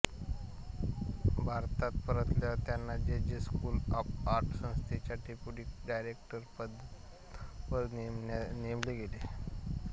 भारतात परतल्यावर त्यांना J J school of art संस्थेच्या डेप्युटी डायरेक्टर पदावर नेमले गेले